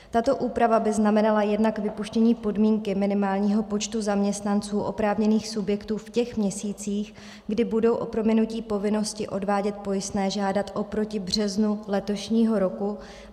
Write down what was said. Tato úprava by znamenala jednak vypuštění podmínky minimálního počtu zaměstnanců oprávněných subjektů v těch měsících, kdy budou o prominutí povinnosti odvádět pojistné žádat oproti březnu letošního roku.